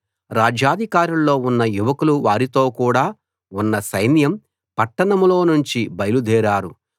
రాజ్యాధికారుల్లో ఉన్న యువకులు వారితో కూడ ఉన్న సైన్యం పట్టణంలో నుంచి బయలు దేరారు